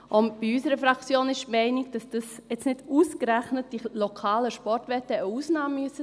In unserer Fraktion ist man der Meinung, dass jetzt nicht ausgerechnet die lokalen Sportwetten eine Ausnahme sein müssen;